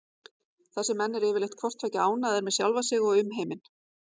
Þessir menn eru yfirleitt hvort tveggja ánægðir með sjálfa sig og umheiminn.